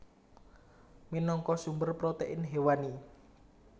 Minangka sumber protein hewani